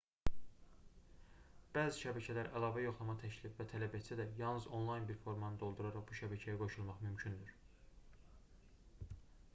bəzi şəbəkələr əlavə yoxlama təklif və tələb etsə də yalnız onlayn bir formanı dolduraraq bu şəbəkəyə qoşulmaq mümkündür